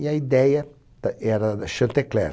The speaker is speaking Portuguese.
E a ideia t era da Chantecler.